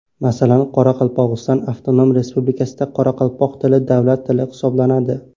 Masalan, Qoraqalpog‘iston avtonom respublikasida qoraqalpoq tili davlat tili hisoblanadi.